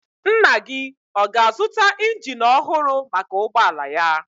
Nna gị ọ ga-azụta injin ọhụrụ maka ụgbọala ya?